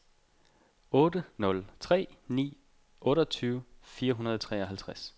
otte nul tre ni otteogtyve fire hundrede og treoghalvtreds